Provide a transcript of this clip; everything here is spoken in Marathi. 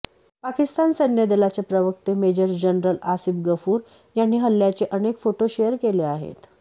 पाकिस्तान सैन्यदलाचे प्रवक्ते मेजर जनरल आसिफ गफूर यांनी हल्ल्याचे अनेक फोटो शेअर केले आहेत